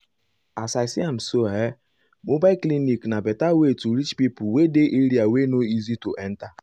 as i see am so ah mobile clinic na better way to reach pipo wey dey area wey no easy to enta.